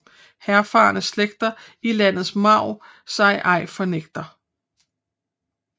Henfarne slægter i landets marv sig ej fornægter